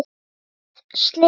Annað slys.